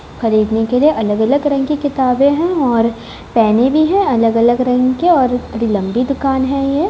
खरीदने के लिए अलग-अलग रंग के किताबे है और पहने भी है अलग-अलग रंग के और बड़ी लम्बी दुकान है ये।